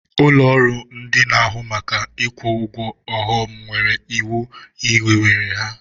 Ụlọrụ ndị n'ahụ maka ikwu ụgwọ ọghọm nwere iwu hiwere ha.